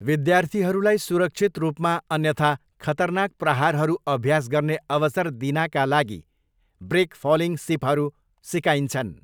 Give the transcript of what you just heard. विद्यार्थीहरूलाई सुरक्षित रूपमा अन्यथा खतरनाक प्रहारहरू अभ्यास गर्ने अवसर दिनाका लागि ब्रेक फलिङ सिपहरू सिकाइन्छन्।